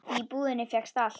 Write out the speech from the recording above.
Því í búðinni fékkst allt.